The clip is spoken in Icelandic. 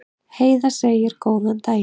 Heiða segir góðan daginn!